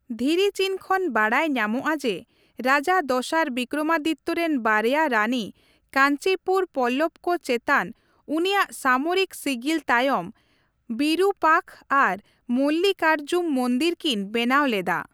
ᱫᱷᱤᱨᱤᱪᱤᱱ ᱠᱷᱚᱱ ᱵᱟᱰᱟᱭ ᱧᱟᱢᱚᱜᱼ ᱟ ᱡᱮ, ᱨᱟᱡᱟ ᱫᱚᱥᱟᱨ ᱵᱨᱤᱠᱚᱢᱟᱫᱤᱛᱛᱚ ᱨᱮᱱ ᱵᱟᱨᱭᱟ ᱨᱟᱹᱱᱤ ᱠᱟᱧᱪᱤᱯᱩᱨ ᱯᱚᱞᱞᱚᱵ ᱠᱚ ᱪᱮᱛᱟᱱ ᱩᱱᱤᱭᱟᱜ ᱥᱟᱢᱚᱨᱤᱠ ᱥᱤᱜᱤᱞ ᱛᱟᱭᱚᱢ ᱵᱤᱨᱩᱯᱟᱠᱷᱚ ᱟᱨ ᱢᱚᱞᱞᱤᱠᱟᱨᱡᱩᱢ ᱢᱚᱱᱫᱤᱨ ᱠᱤᱱ ᱵᱮᱱᱟᱣ ᱞᱮᱫᱟ ᱾